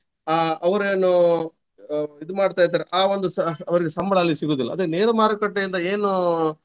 ಅಹ್ ಅವರೇನು ಇದು ಮಾಡ್ತಾ ಇದ್ದಾರೆ ಆ ಒಂದು ಸಹ ಅವರಿಗೆ ಸಂಬಳ ಅಲ್ಲಿ ಸಿಗುವುದಿಲ್ಲ. ಅದೇ ನೇರ ಮಾರುಕಟ್ಟೆಯಿಂದ ಏನು.